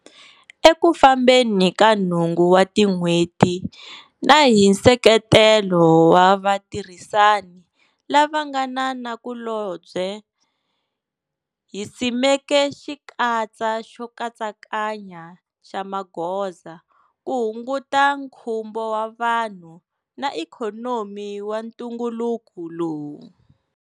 Eku fambeni ka nhungu wa tin'hweti na hi nseketelo wa vatirhisani lava nga na nakulobye, hi simeke xikatsa xo katsakanya xa magoza ku hunguta nkhumbo wa vanhu na ikhonomi wa ntunguluku lowu.